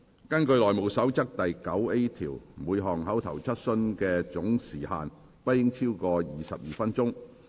根據《內務守則》第 9A 條，每項口頭質詢的總時限不應超過22分鐘。